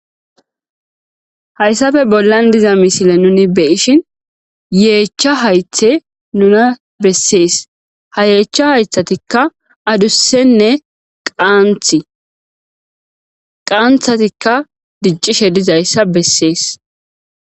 Hayssafe bollan diza misile nuni beyishin yeechcha haythe nuna bessees ha yeechcha haythatikka adussenne qaanthi qaanthatikka diccishe dizayssa bessees.